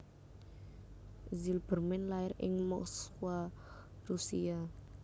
Zilberman lair ing Moskwa Rusia